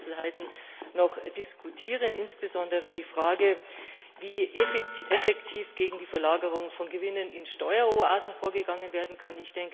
Wir müssen Einzelheiten noch diskutieren, insbesondere die Frage, wie effektiv gegen die Verlagerung von Gewinnen in Steueroasen vorgegangen werden kann.